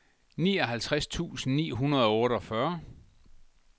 nioghalvtreds tusind ni hundrede og otteogfyrre